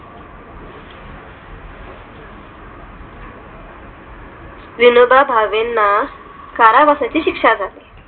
विनोबा भावे यांना कारावासाची शिक्षा झाली